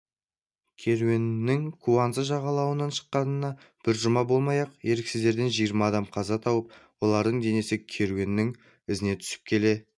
керуеннің куанза жағалауынан шыққанына бір жұма болмай-ақ еріксіздерден жиырма адам қаза тауып олардың денесі керуеннің ізіне түсіп келе